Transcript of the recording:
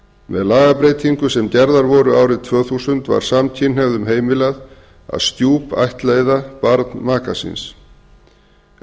með lagabreytingum sem gerðar voru árið tvö þúsund var samkynhneigðum heimilað að stjúpættleiða barn maka síns en